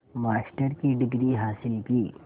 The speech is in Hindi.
मास्टर की डिग्री हासिल की